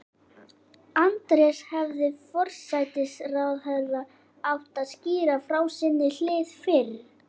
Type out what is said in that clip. Andrés, hefði forsætisráðherra átt að skýra frá sinni hlið fyrr?